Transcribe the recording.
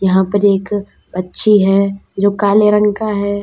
यहां पर एक पक्षी है जो काले रंग का है।